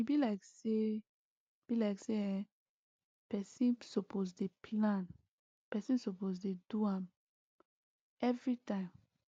e be like say be like say[um]person suppose dey plan person suppose dey do am everytime